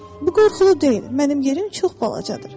Bu qorxulu deyil, mənim yerim çox balacadır.